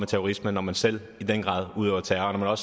terrorister når man selv udøver terror noget